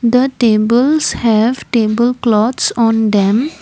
the tables have table cloths on them.